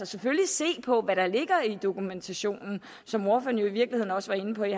selvfølgelig se på hvad der ligger i dokumentationen som ordføreren jo i virkeligheden også var inde på i